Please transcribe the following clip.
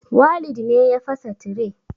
Walid ne ya fasa tire